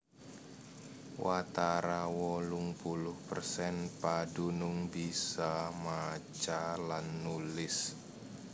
Watara wolung puluh persen padunung bisa maca lan nulis